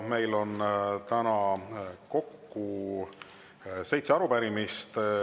Meil on täna kokku seitse arupärimist.